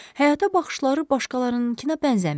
Həyata baxışları başqalarınkına bənzəmirdi.